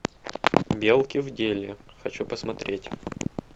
белки в деле хочу посмотреть